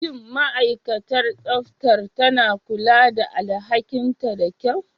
Shin ma'aikatar tsaftar tana kula da alhakinta da kyau?